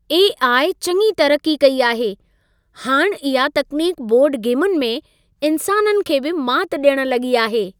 AI. चङी तरक्की कई आहे। हाणि इहा तकनीक बोर्ड गेमुनि में, इंसाननि खे बि माति ॾियणु लॻी आहे।